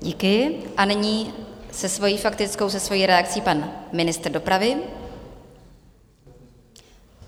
Díky a nyní se svojí faktickou, se svojí reakcí, pan ministr dopravy.